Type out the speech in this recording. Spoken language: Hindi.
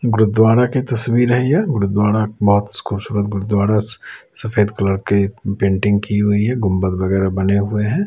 गुरुद्वारा की तस्वीर है यह गुरुद्वारा बहोत खूबसूरत गुरुद्वारा सफेद कलर के पेंटिंग की हुई है गुंबद वगेरा बने हुए हैं।